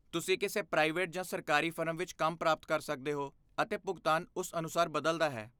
ਤੁਸੀਂ ਕਿਸੇ ਪ੍ਰਾਈਵੇਟ ਜਾਂ ਸਰਕਾਰੀ ਫਰਮ ਵਿੱਚ ਕੰਮ ਪ੍ਰਾਪਤ ਕਰ ਸਕਦੇ ਹੋ, ਅਤੇ ਭੁਗਤਾਨ ਉਸ ਅਨੁਸਾਰ ਬਦਲਦਾ ਹੈ।